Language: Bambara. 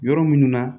Yɔrɔ minnu na